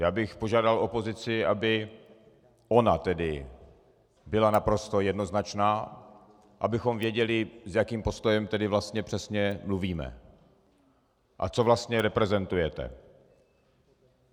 Já bych požádal opozici, aby ona tedy byla naprosto jednoznačná, abychom věděli, s jakým postojem tedy vlastně přesně mluvíme a co vlastně reprezentujete.